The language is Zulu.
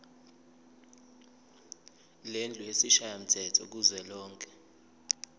lendlu yesishayamthetho kuzwelonke